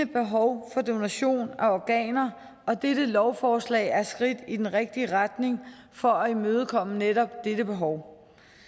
behov for donation af organer og dette lovforslag er et skridt i den rigtige retning for at imødekomme netop dette behov